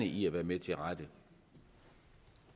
i rigtig mange